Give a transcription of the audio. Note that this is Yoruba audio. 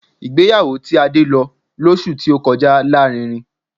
Ìgbéyàwó tí Adé lọ lọ́sù tí ó kọjá lárinrin